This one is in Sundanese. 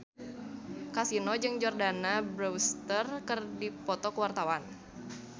Kasino jeung Jordana Brewster keur dipoto ku wartawan